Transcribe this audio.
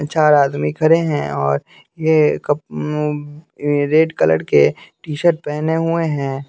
चार आदमी खरे हैं और ये कप रेड कलर के टी-शर्ट पहने हुए हैं।